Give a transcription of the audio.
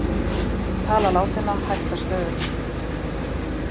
Tala látinna hækkar stöðugt